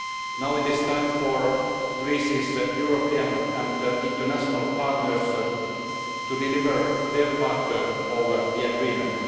Now it is time for Greece's European and international partners to deliver their part of the agreement.